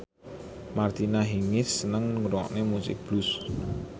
Martina Hingis seneng ngrungokne musik blues